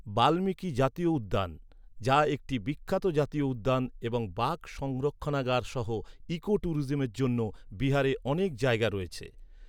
বাল্মীকি জাতীয় উদ্যান, যা একটি বিখ্যাত জাতীয় উদ্যান এবং বাঘ সংরক্ষণাগার সহ ইকো ট্যুরিজমের জন্য বিহারে অনেক জায়গা রয়েছে।